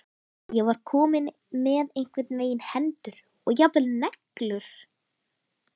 Ég var komin með einhvern veginn hendur og jafnvel neglur.